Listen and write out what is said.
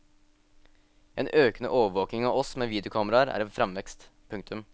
En økende overvåking av oss med videokameraer er i fremvekst. punktum